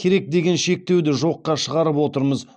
керек деген шектеуді жоқша шығарып отырмыз